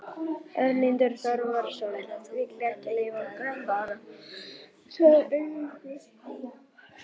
Erlendur Þorvarðarson vill ekki leyfa okkur að fara, sagði Eiríkur.